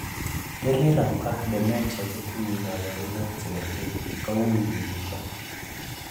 delirium ak dementia kotinyei kaborunoik chekergei, kowui kibesho